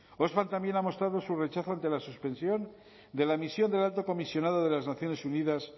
oxfam también ha mostrado su rechazo ante la suspensión de la misión del alto comisionado de las naciones unidas